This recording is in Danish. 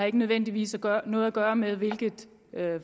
ikke nødvendigvis noget at gøre med hvilket